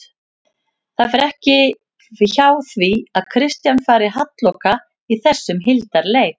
Það fer ekki hjá því að Kristján fari halloka í þessum hildarleik